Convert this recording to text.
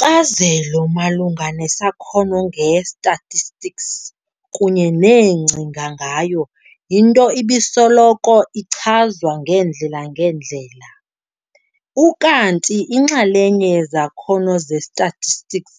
Inkcazelo malunga nesakhono nge-statistics kunye neengcinga ngayo yinto ebisoloko ichazwa ngeendle-ngeendlela. Ukanti inxalenye yezakhono ze-statistics